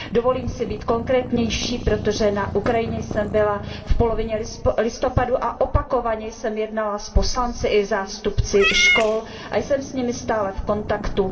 Dovolím si být konkrétnější, protože na Ukrajině jsem byla v polovině listopadu a opakovaně jsem jednala s poslanci i zástupci škol a jsem s nimi stále v kontaktu.